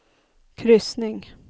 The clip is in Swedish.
kryssning